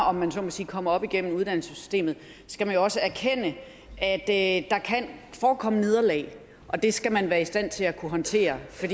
om jeg så må sige kommer op igennem uddannelsessystemet skal man også erkende at der kan forekomme nederlag og det skal man være i stand til at håndtere for